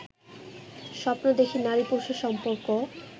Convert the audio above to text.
স্বপ্ন দেখি নারী পুরুষের সম্পর্ক